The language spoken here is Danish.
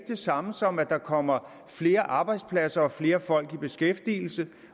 det samme som at der kommer flere arbejdspladser og flere folk i beskæftigelse